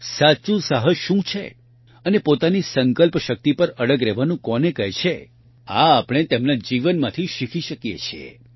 સાચું સાહસ શું છે અને પોતાની સંકલ્પ શક્તિ પર અડગ રહેવાનું કોને કહે છે આ આપણે તેમના જીવનમાંથી શીખી શકીએ છીએ